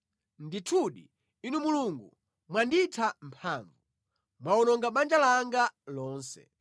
Ndithudi, Inu Mulungu mwanditha mphamvu; mwawononga banja langa lonse.